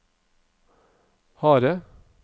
harde